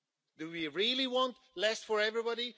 Do we really want less for everybody?